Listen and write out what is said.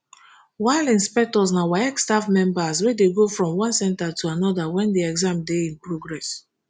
while inspectors na waec staff members wey dey go from one centre to anoda wen di exam dey in progress